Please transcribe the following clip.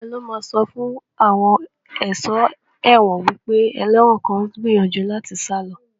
Ta ló máa sọ fún àwọn aṣọ́ ẹ̀wọ̀n wípé ẹlẹ́wọ̀n kan ń gbìyànjú láti sá lọ